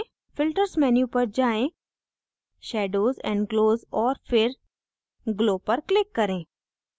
filters menu पर जाएँ shadows and glows और फिर glow पर click करें